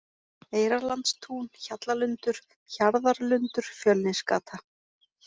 Eyrarlandstún, Hjallalundur, Hjarðarlundur, Fjölnisgata